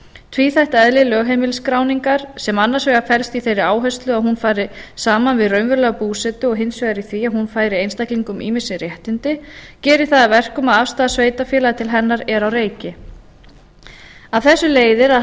tvíþætt eðli lögheimilisskráningar sem annars vegar felst í þeirri áherslu að hún fari saman við raunverulega búsetu og hins vegar í því að hún færi einstaklingum raunveruleg réttindi gerir það að verkum að aðstaða sveitarfélaga til hennar er á reiki af þessu leiðir að